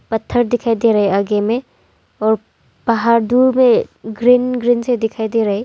पत्थर दिखाई दे रहे आगे में और पहाड़ दुर में ग्रीन ग्रीन से दिखाई दे रहे।